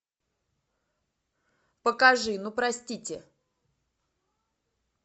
покажи ну простите